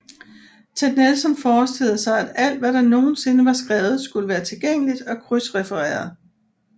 Ted Nelson forestillede sig at alt hvad der nogensinde var skrevet skulle være tilgængeligt og krydsrefereret